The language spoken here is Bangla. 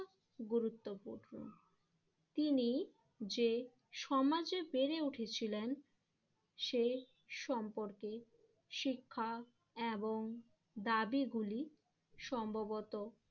গুরুত্বপূর্ণ। তিনি যে সমাজে বেড়ে উঠেছিলেন সে সম্পর্কে শিক্ষা এবং দাবি গুলি সম্ভবত